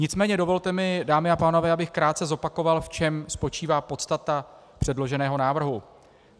Nicméně dovolte mi, dámy a pánové, abych krátce zopakoval, v čem spočívá podstata předloženého návrhu.